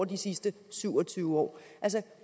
de sidste syv og tyve år